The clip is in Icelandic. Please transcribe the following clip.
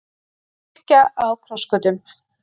Kirkja á krossgötum